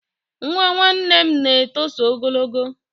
Nwa nwanne m na-etoso ogologo